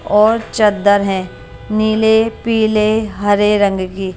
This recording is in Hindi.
और चद्दर है नीले पीले हरे रंग की --